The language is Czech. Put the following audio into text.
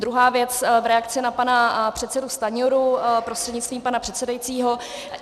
Druhá věc, v reakci na pana předsedu Stanjuru prostřednictvím pana předsedajícího.